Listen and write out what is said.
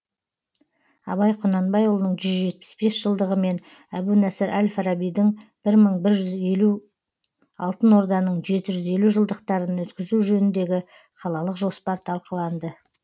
абай құнанбайұлының жүз жетпіс бес жылдығы мен әбу насыр әл фарабидің бір мың жүз елу алтын орданың жеті жүз елу жылдықтарын өткізу жөніндегі қалалық жоспар талқыланды